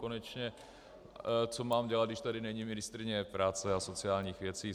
Konečně co mám dělat, když tady není ministryně práce a sociálních věcí?